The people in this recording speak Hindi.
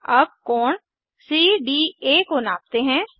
अब कोण सीडीए को नापते हैं